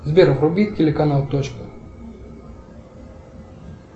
сбер вруби телеканал точка